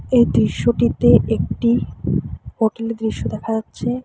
এই দৃশ্যটিতে একটি হোটেলের দৃশ্য দেখা যাচ্ছে।